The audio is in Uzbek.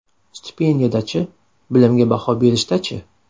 Stipendiyada-chi, bilimga baho berishda-chi?